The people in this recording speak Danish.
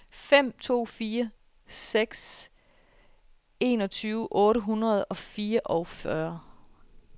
fem to fire seks enogtyve otte hundrede og fireogfyrre